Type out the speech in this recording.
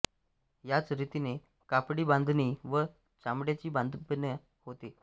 याच रीतीने कापडि बांधणी व चामड्याची बांधणीपण होते